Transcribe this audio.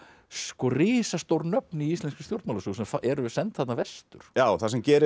risastór nöfn í íslenskri stjórnmálasögu sem eru send þarna vestur já það sem gerist